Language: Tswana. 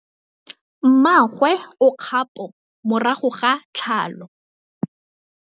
Mmagwe o kgapô morago ga tlhalô.